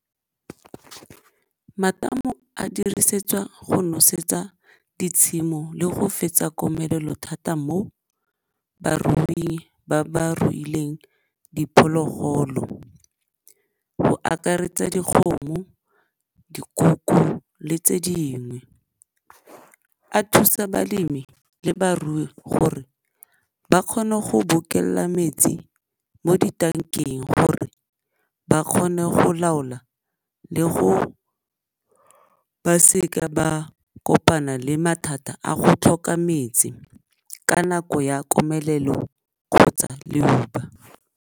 Matamo a dirisetswa go nosetsa ditshimo le go fetsa komelelo thata mo baruing ba ba ruileng diphologolo go akaretsa dikgomo, dikoko le tse dingwe. A thusa balemi le barui gore ba kgone go metsi mo ditankeng gore ba kgone go laola le gore ba seka ba kopana le mathata a go tlhoka metsi ka nako ya komelelo kgotsa leuba.